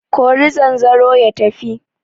Kori zanzaro ya tafi!